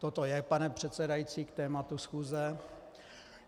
Toto je, pane předsedající, k tématu schůze.